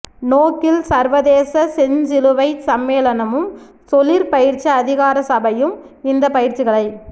நோக்கில் சர்வதேச செஞ்சிலுவைச் சம்மேளனமும் தொழிற் பயிற்சி அதிகார சபையும் இந்த பயிற்சிகளை